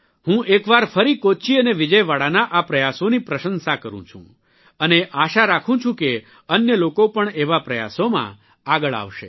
હું એકવાર ફરી કોચ્ચી અને વિજયવાડાના આ પ્રયાસોની પ્રશંસા કરૂં છું અને આશા રાખું છું કે અન્ય લોકો પણ એવા પ્રયાસોમાં આગળ આવશે